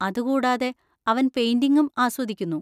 അതുകൂടാതെ, അവൻ പെയിന്‍റിംഗും ആസ്വദിക്കുന്നു.